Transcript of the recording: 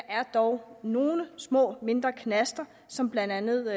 er dog nogle mindre knaster som blandt andet